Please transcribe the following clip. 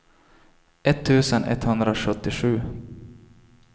etttusen etthundrasjuttiosju